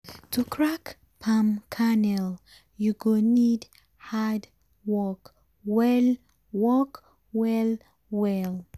to crack palm kernel u go need hard work wen work well well.